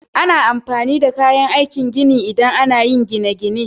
Ana amfani da kayan aikin gini idan ana yin gine-gine.